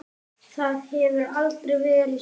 Það hefur aldrei verið svona.